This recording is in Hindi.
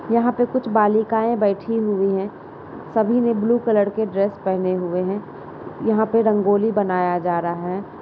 यहाँ पे कुछ बालिकाएं बैठी हुयी हैं सभी ने ब्लू कलर के ड्रेस पहने हुए हैं| यहाँ पर रंगोली बनाया जा रहा है।